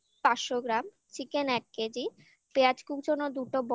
পাঁচশো গ্রাম chicken এক কেজি পেঁয়াজ কুচানো